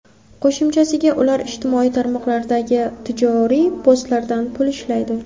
Qo‘shimchasiga, ular ijtimoiy tarmoqlardagi tijoriy postlardan pul ishlaydi.